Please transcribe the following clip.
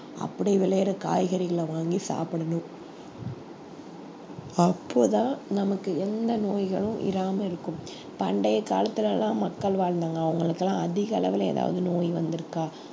அப்படி விளையிற காய்கறிகளை வாங்கி சாப்பிடணும் அப்போதான் நமக்கு எந்த நோய்களும் இராம இருக்கும் பண்டைய காலத்துல எல்லாம் மக்கள் வாழ்ந்தாங்க அவங்களுக்கெல்லாம் அதிக அளவுல ஏதாவது நோய் வந்திருக்கா